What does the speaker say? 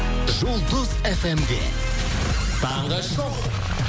жұлдыз эф эм де таңғы шоу